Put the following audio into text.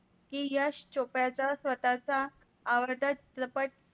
कि यश चोपडाचा स्वतःचा आवडत दफड